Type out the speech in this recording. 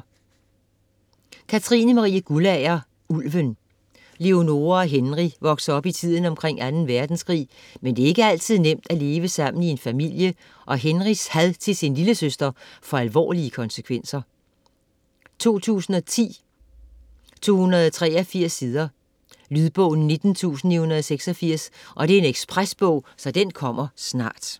Guldager, Katrine Marie: Ulven Leonora og Henry vokser op i tiden omkring 2. verdenskrig, men det er ikke altid nemt at leve sammen i en familie, og Henrys had til sin lillesøster får alvorlige konsekvenser. 2010, 283 sider. Lydbog 19986 Ekspresbog - kommer snart